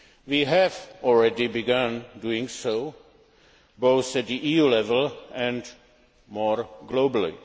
We have already begun doing so, both at EU level and more globally.